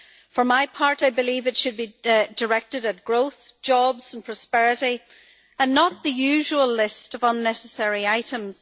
For my part, I believe it should be directed at growth, jobs and prosperity, and not the usual list of unnecessary items.